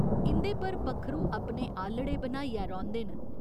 इं'दे पर पक्खरू अपने आह्‌लड़े बनाइयै रौंह्दे न।